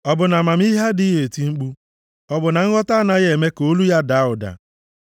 Ọ bụ na amamihe adịghị eti mkpu? Ọ bụ na nghọta anaghị eme ka olu ya daa ụda?